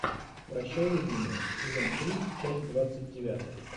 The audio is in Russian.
прощай любимая сезон три часть двадцать девятая